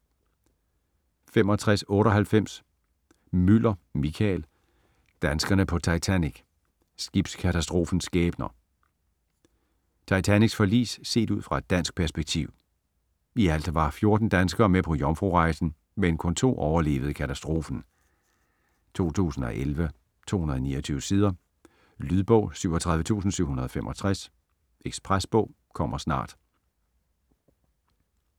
65.98 Müller, Michael: Danskerne på Titanic: skibskatastrofens skæbner Titanics forlis set ud fra et dansk perspektiv. I alt var 14 danskere med på jomfrurejsen, men kun 2 overlevede katastrofen. 2011, 229 sider. Lydbog 37765 Ekspresbog - kommer snart